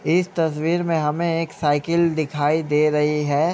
इस तस्वीर में हमें एक सायकल दिखाय दे रही है।